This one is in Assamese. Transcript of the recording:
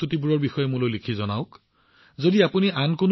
এই প্ৰস্তুতিবোৰৰ বিষয়ে মোক আপোনালোকে মন কী বাতৰ জৰিয়তে জনাওক